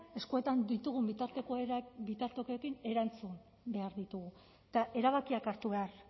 eskuetan ditugun bitartekoekin erantzun behar ditugu eta erabakiak hartu behar